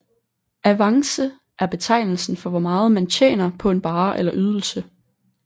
Avance er betegnelsen for hvor meget man tjener på en vare eller ydelse